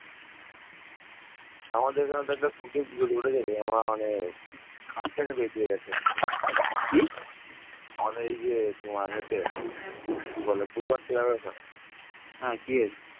ন্দ্রকেতুগড়ে পশ্চিমবঙ্গ, ভারত আবিষ্কৃত প্রাচীন মুদ্রাগুলোয় নৌকা চিত্রিত রয়েছে